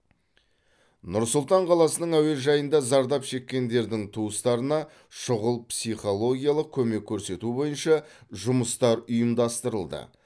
нұр сұлтан қаласының әуежайында зардап шеккендердің туыстарына шұғыл психологиялық көмек көрсету бойынша жұмыстар ұйымдастырылды